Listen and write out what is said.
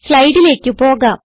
സ്ലൈഡിലേക്ക് പോകാം